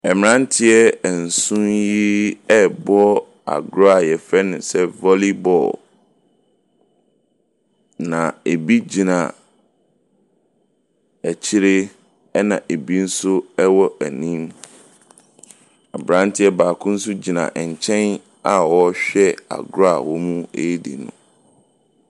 Mmaranteɛ nson yi ɛbɔ agorɔ a yɛfrɛ no sɛ volley bɔɔl. Na ebi gyina akyire ɛna ebi nso ɛwɔ anim. Abranteɛ baako nso gyina nkyɛn a ɔhyɛ agorɔ a wɔredi no.